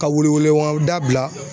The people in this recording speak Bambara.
Ka welewelemada bila